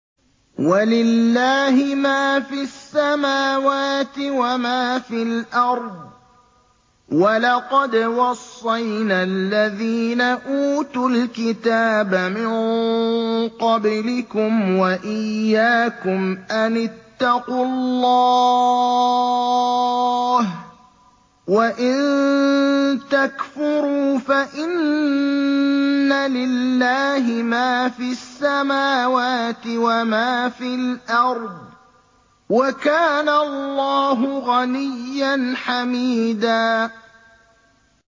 وَلِلَّهِ مَا فِي السَّمَاوَاتِ وَمَا فِي الْأَرْضِ ۗ وَلَقَدْ وَصَّيْنَا الَّذِينَ أُوتُوا الْكِتَابَ مِن قَبْلِكُمْ وَإِيَّاكُمْ أَنِ اتَّقُوا اللَّهَ ۚ وَإِن تَكْفُرُوا فَإِنَّ لِلَّهِ مَا فِي السَّمَاوَاتِ وَمَا فِي الْأَرْضِ ۚ وَكَانَ اللَّهُ غَنِيًّا حَمِيدًا